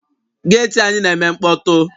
Geeti anyi na-eme mkpọtụ.